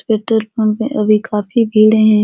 Petrol pump में अभी काफी भीड़ है।